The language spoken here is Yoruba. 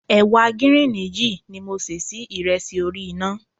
Ẹ̀wà gíríìnì yìí ni mo ṣẹ́ sí ìrẹsì orí iná.